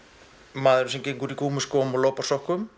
maðurinn sem gengur í gúmmískóm og